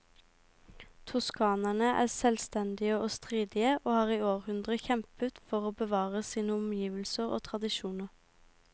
Toskanerne er selvstendige og stridige, og har i århundrer kjempet for å bevare sine omgivelser og tradisjoner.